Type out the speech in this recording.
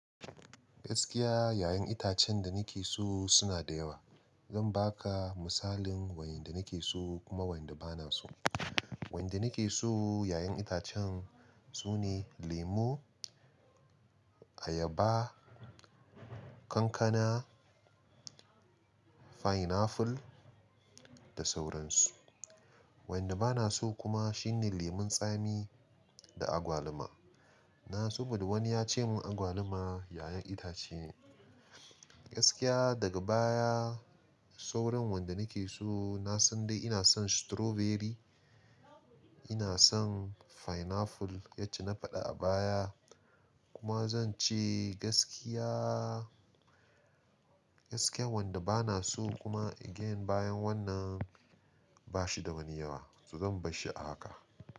Gaskiya, 'ya'yan itacen da nake so suna da yawa. Zan ba ka misalin wayanda nake so kuma wanda bana so. Wanda nake so 'ya'yan itacen su ne lemo, ayaba, kankana, pineapple da sauransu. Wanda bana so kuma shine lemon tsami da agwaluma. Na saboda wani ya ce mun agwaluma 'ya'yan itace. Gaskiya daga baya sauran wanda nake so na san dai ina son strawberry, ina son pineapple yacce na faɗa a baya kuma zan ce gaskiya, gaskiya wanda bana so kuma again bayan wannan ba shi da wani yawa to zan bar shi a haka.